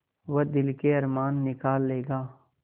वह दिल के अरमान निकाल लेगा